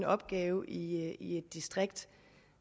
opgave i et distrikt